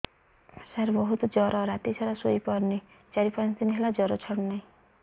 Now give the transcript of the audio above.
ସାର ବହୁତ ଜର ରାତି ସାରା ଶୋଇପାରୁନି ଚାରି ପାଞ୍ଚ ଦିନ ହେଲା ଜର ଛାଡ଼ୁ ନାହିଁ